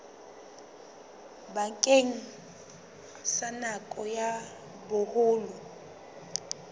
bakeng sa nako ya boholo